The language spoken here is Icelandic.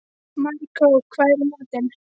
Maríkó, hvað er í matinn?